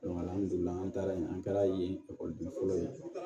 an taara yen an kɛra yen ekɔliden fɔlɔ ye